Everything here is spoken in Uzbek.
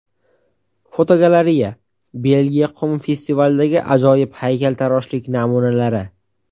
Fotogalereya: Belgiya qum festivalidagi ajoyib haykaltaroshlik namunalari.